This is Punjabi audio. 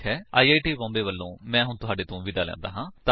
ਆਈ ਆਈ ਟੀ ਬੌਮਬੇ ਵਲੋਂ ਮੈਂ ਹੁਣ ਤੁਹਾਡੇ ਤੋਂ ਵਿਦਾ ਲੈਂਦਾ ਹਾਂ